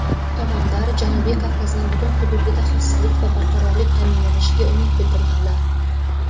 Tomonlar Janubiy Kavkazning butun hududida xavfsizlik va barqarorlik ta’minlanishiga umid bildirganlar.